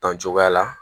Dan cogoya la